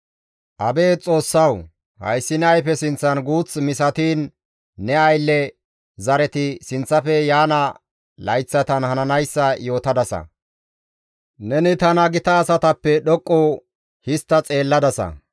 Abeet Xoossawu! Hayssi ne ayfe sinththan guuththa misatiin ne aylle zareti sinththafe yaana layththatan hananayssa yootadasa; neni tana gita asatappe dhoqqu histta xeelladasa.